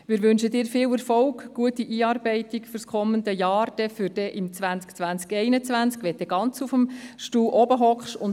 Wir wünschen Ihnen viel Erfolg, eine gute Einarbeitung für das kommende Jahr 2020/21, wenn Sie dann auf dem obersten Stuhl sitzen werden, und alles Gute.